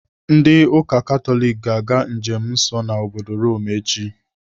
Ndị ụka Katọlik ga-aga njem nsọ ha n'obodo Rome echi.